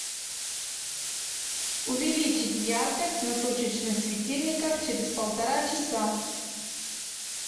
увеличить яркость на точечных светильниках через полтора часа